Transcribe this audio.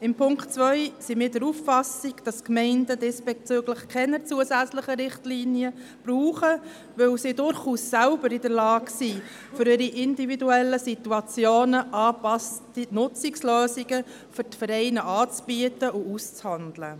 Beim Punkt 2 sind wir der Auffassung, dass die Gemeinden diesbezüglich keine zusätzlichen Richtlinien brauchen, da sie durchaus selber in der Lage sind, für ihre individuellen Situationen angepasste Nutzungslösungen für die Vereine anzubieten und auszuhandeln.